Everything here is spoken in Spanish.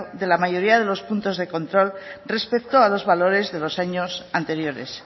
de la mayoría de los puntos de control respecto a los valores de los años anteriores